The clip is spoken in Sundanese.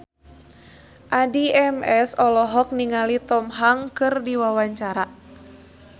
Addie MS olohok ningali Tom Hanks keur diwawancara